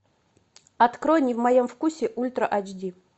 открой не в моем вкусе ультра ач ди